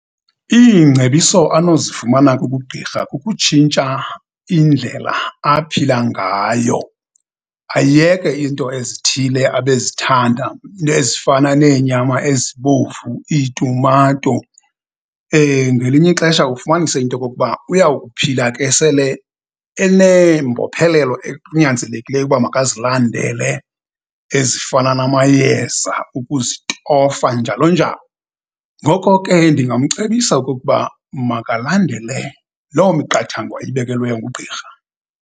Iingcebiso anozifumana kubugqirha kukutshintsha indlela aphila ngayo, ayeke iinto ezithile abezithanda, iinto ezifana neenyama ezibomvu, iitumato. Ngelinye ixesha ufumanise into yokokuba uya ukuphila ke sele eneembophelelo, ekunyanzelekileyo uba makazilandele ezifana namayeza, ukuzitofa, njalo njalo. Ngoko ke, ndingamcebisa okukuba makalandele loo miqathango ayibekelweyo ngugqirha.